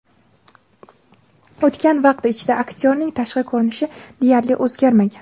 O‘tgan vaqt ichida aktyorning tashqi ko‘rinishi deyarli o‘zgarmagan.